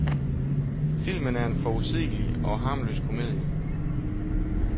Filmen er en forudsigelig og harmløs komedie.